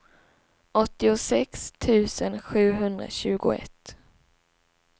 åttiosex tusen sjuhundratjugoett